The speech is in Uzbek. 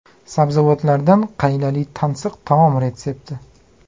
Sabzavotlardan qaylali tansiq taom retsepti.